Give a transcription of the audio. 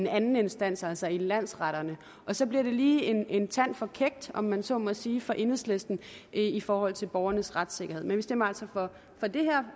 anden instans altså i landsretterne og så bliver det lige en tand for kækt om man så må sige for enhedslisten i forhold til borgernes retssikkerhed vi stemmer for det her